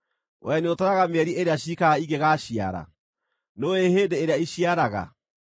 Wee nĩũtaraga mĩeri ĩrĩa ciikaraga ingĩgaaciara? Nĩũũĩ hĩndĩ ĩrĩa iciaraga?